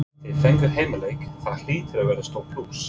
Þið fenguð heimaleik, það hlýtur að vera stór plús?